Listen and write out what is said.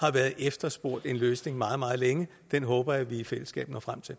har været efterspurgt en løsning på meget meget længe den håber jeg vi i fællesskab når frem til